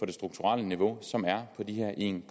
det strukturelle niveau som er på de her en